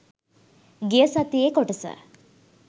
ගිය සතියේ කොටස